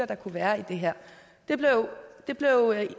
der kunne være i det her